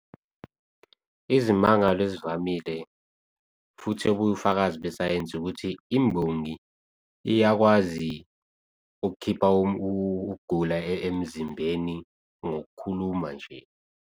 Izimangalo ezivamile futhi ubufakazi besayensi ukuthi imbongi iyakwazi ukukhipha ukugula emzimbeni ngokukhuluma nje.